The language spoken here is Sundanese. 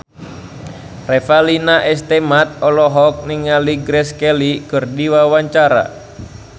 Revalina S. Temat olohok ningali Grace Kelly keur diwawancara